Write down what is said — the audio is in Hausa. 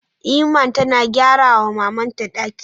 Iman tana gyara wa maman ta ɗaki